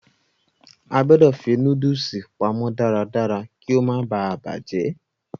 A gbọ̀dọ̀ fi nóódùsì pamọ́ darádará kí ó má baà bàjẹ́